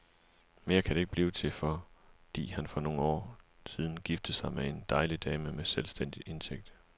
Mere kan det ikke blive til, fordi han for nogle år siden giftede sig med en dejlig dame med selvstændig indtægt.